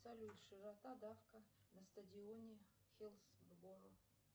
салют широка давка на стадионе хиллсборо